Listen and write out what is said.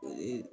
O ye